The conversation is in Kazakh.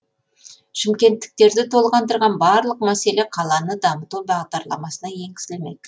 шымкенттіктерді толғандырған барлық мәселе қаланы дамыту бағдарламасына енгізілмек